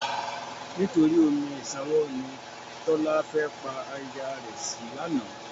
Nítorí omi ìṣanwọ́ ni Tọ́lá fẹ́ pa aya rẹ̀ sí lánàá.